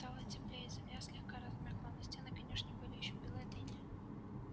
стало теплее и земля слегка размякла но стены конюшни были ещё белы от инея